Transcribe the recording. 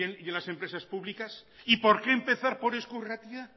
en las empresas públicas y por qué empezar por eusko irratia